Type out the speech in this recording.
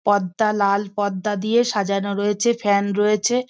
পর্দা লাল পর্দা দিয়ে সাজানো রয়েছে ফ্যান রয়েছে।